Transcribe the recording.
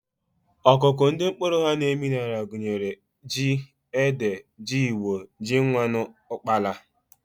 Akụkụ ndị mkpụrụ ha na-emi n'ala gụnyere ji, ede, jigbọ, ji nwannu, ụkpaala